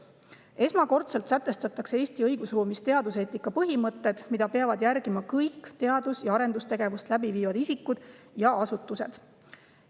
Esmakordselt sätestatakse Eesti õigusruumis teaduseetika põhimõtted, mida peavad järgima kõik teadus‑ ja arendustegevust läbi viivad isikud ja asutused.